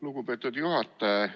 Lugupeetud juhataja!